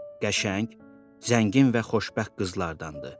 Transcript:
Qəşəng, zəngin və xoşbəxt qızlardandır.